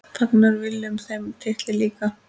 Fagnar Willum þeim titli líka?